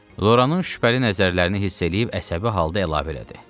Loranın şübhəli nəzərlərini hiss eləyib əsəbi halda əlavə elədi: